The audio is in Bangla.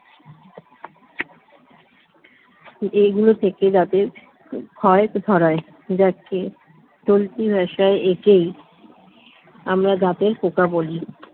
এই গুল থেকে দান্তের খয়াত ধরাই জাকে চিলতি ভাসাই একেই আমারা দাঁতের পকা বলি